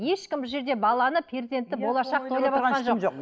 ешкім бұл жерде баланы перзентті болашақты ойлап